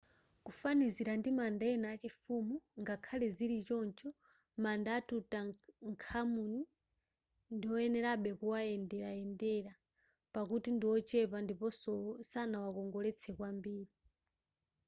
kufanizira ndi manda ena achifumu ngakhale zili choncho manda a tutankhamun ndiwoyenerabe kumawayendera pakuti ndi wochepa ndiponso sanawakongoletsedwe kwambiri